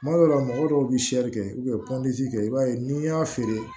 Kuma dɔw la mɔgɔ dɔw bɛ kɛ kɛ i b'a ye n'i y'a feere